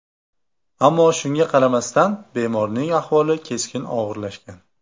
Ammo shunga qaramasdan bemorning ahvoli keskin og‘irlashgan.